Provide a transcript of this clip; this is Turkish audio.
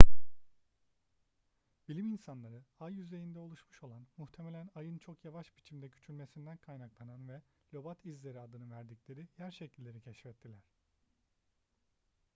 bilim insanları ay yüzeyinde oluşmuş olan muhtemelen ayın çok yavaş biçimde küçülmesinden kaynaklanan ve lobat izleri adını verdikleri yer şekilleri keşfettiler